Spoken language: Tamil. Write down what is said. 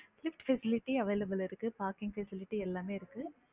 facilities available ல இருக்கு parking facilities எல்லாமே இருக்கு